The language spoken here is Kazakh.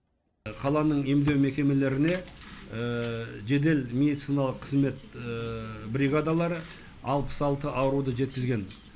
қаланың емдеу мекемелеріне жедел медициналық қызмет бригадалары алпыс алты ауруды жеткізген